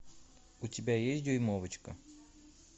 у тебя есть дюймовочка